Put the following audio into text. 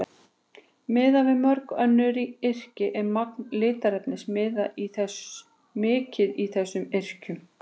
Miðað við mörg önnur yrki er magn litarefnis mikið í þessum yrkjum.